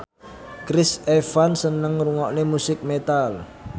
Chris Evans seneng ngrungokne musik metal